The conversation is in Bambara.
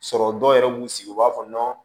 Sɔrɔ dɔw yɛrɛ b'u sigi u b'a fɔ